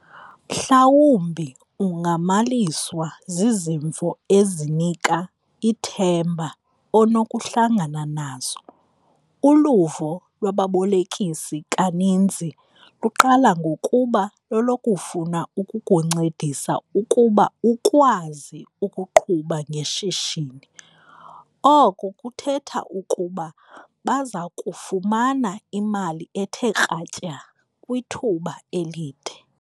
Mhlawumbi ungamaliswa zizimvo ezinika ithemba onokuhlangana nazo. Uluvo lwababolekisi kaninzi luqala ngokuba lolokufuna ukukuncedisa ukuba ukwazi ukuqhuba ngeshishini - oko kuthetha ukuba bazakufumana imali ethe kratya kwithuba elide.